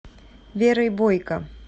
верой бойко